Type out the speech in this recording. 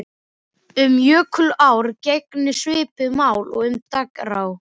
Um jökulár gegnir svipuðu máli og um dragár.